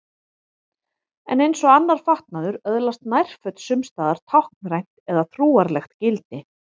En eins og annar fatnaður öðlast nærföt sums staðar táknrænt eða trúarlegt gildi.